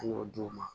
An y'o d'u ma